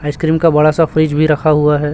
Ice cream का बड़ा सा फ्रिज भी रखा हुआ है।